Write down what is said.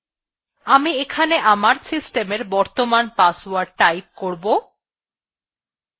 আমি এখানে আমার system এর বর্তমান password টাইপ করব